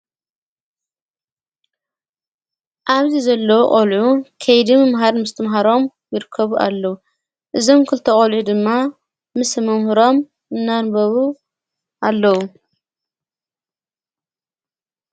ዓብዚ ዘለዉ ቖልዑ ከይድም መሃድ ምስ ትምሃሮም ቢርከቡ ኣለዉ እዘም ክልተ ቖልዩ ድማ ምስ መምህሮም እናንበቡ ኣለዉ።